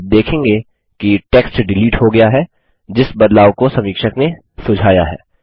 आप देखेंगे कि टेक्स्ट डिलीट हो गया है जिस बदलाव को समीक्षक ने सुझाया है